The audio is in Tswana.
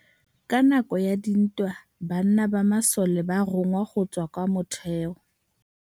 Ka nakô ya dintwa banna ba masole ba rongwa go tswa kwa mothêô.